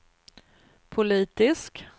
politisk